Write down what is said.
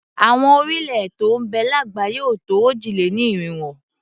Àwọn orílẹ̀-èè tó ń bẹ lágbàáyé ò tó òjì-lé-ní-irinwó.